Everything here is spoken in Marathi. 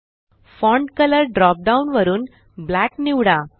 फॉन्ट कलर ड्रॉप डाउन वरुन ब्लॅक निवडा